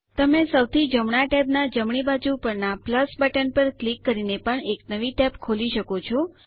તમે સૌથી જમણા ટેબના જમણી બાજુ પરના બટન પર ક્લિક કરીને પણ એક નવી ટેબ ખોલી શકો છો